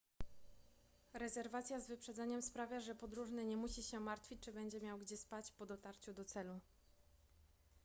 rezerwacja z wyprzedzeniem sprawia że podróżny nie musi się martwić czy będzie miał gdzie spać po dotarciu do celu